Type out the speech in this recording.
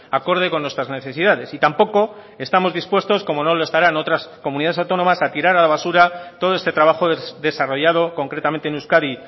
acorde con nuestras necesidades y tampoco estamos dispuestos como no lo estarán otras comunidades autónomas a tirar a la basura todo este trabajo desarrollado concretamente en euskadi